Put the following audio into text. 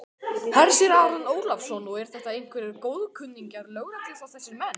Hersir Aron Ólafsson: Og eru þetta einhverjir góðkunningjar lögreglu þá þessir menn?